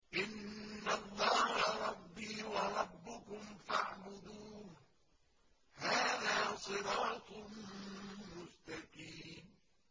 إِنَّ اللَّهَ رَبِّي وَرَبُّكُمْ فَاعْبُدُوهُ ۗ هَٰذَا صِرَاطٌ مُّسْتَقِيمٌ